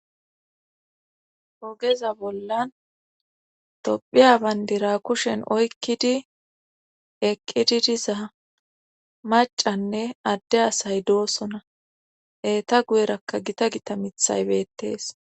Ogeza bollan tophiya bandira kushen oykkidi eqqididiza macanne adde asay doosona eeta guyerakka gita gita mithay beettees